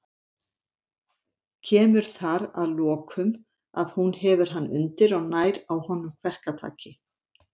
Kemur þar að lokum, að hún hefur hann undir og nær á honum kverkataki.